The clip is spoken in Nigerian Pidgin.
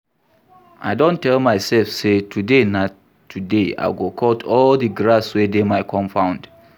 I don tell my self say today na today. I go cut all the grass wey dey my compound